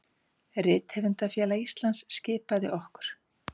Rithöfundafélag Íslands skipaði okkur